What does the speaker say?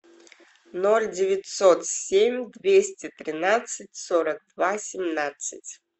ноль девятьсот семь двести тринадцать сорок два семнадцать